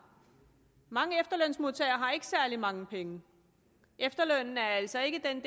mange efterlønsmodtagere har ikke særlig mange penge efterlønnen er altså ikke den